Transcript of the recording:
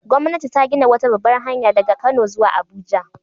Gwamnati ta gina wata babbar hanya daga Kano zuwa Abuja